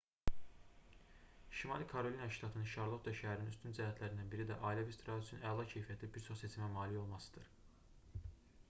şimali karolina ştatının şarlotta şəhərinin üstün cəhətlərindən biri də ailəvi istirahət üçün əla keyfiyyətli bir çox seçimə malik olmasıdır